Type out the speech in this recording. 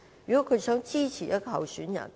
如果他們想支持一名候選人......